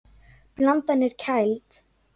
Blandan er kæld.